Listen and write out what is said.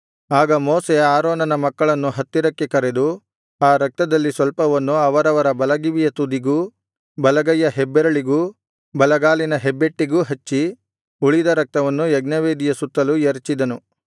ಆಗ ಮೋಶೆ ಆರೋನನ ಮಕ್ಕಳನ್ನು ಹತ್ತಿರಕ್ಕೆ ಕರೆದು ಆ ರಕ್ತದಲ್ಲಿ ಸ್ವಲ್ಪವನ್ನು ಅವರವರ ಬಲಗಿವಿಯ ತುದಿಗೂ ಬಲಗೈಯ ಹೆಬ್ಬೆರಳಿಗೂ ಬಲಗಾಲಿನ ಹೆಬ್ಬೆಟ್ಟಿಗೂ ಹಚ್ಚಿ ಉಳಿದ ರಕ್ತವನ್ನು ಯಜ್ಞವೇದಿಯ ಸುತ್ತಲೂ ಎರಚಿದನು